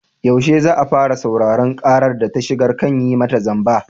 Yaushe za a fara sauraron ƙarar da ta shigar kan yi mata zamba?